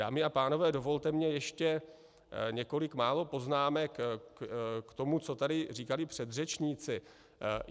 Dámy a pánové, dovolte mně ještě několik málo poznámek k tomu, co tady říkali předřečníci.